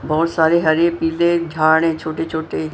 बोहोत सारे हरे पिले झाड़ हैं छोटे छोटे।